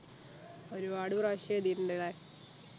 ഒരുപാട് പ്രാവശ്യം എഴുതീട്ടുണ്ട് അല്ലെ